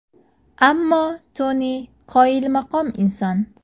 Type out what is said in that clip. Ammo Toni qoyilmaqom inson.